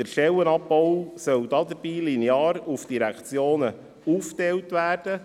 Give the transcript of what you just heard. Der Stellenabbau soll dabei linear auf die Direktionen aufgeteilt werden.